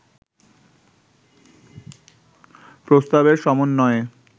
প্রস্তাবের সমন্বয়ে